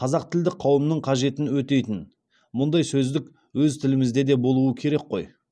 қазақтілді қауымның қажетін өтейтін мұндай сөздік өз тілімізде де болуы керек қой